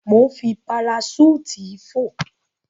Mò ń fi paraṣúùtì fò.